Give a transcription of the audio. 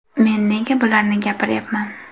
Men nega bularni gapiryapman.